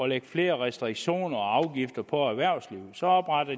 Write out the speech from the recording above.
lægge flere restriktioner og afgifter på erhvervslivet så opretter